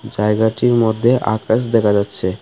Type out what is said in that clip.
জায়গাটির মধ্যে আকাশ দেখা যাচ্ছে .